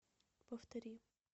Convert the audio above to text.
повтори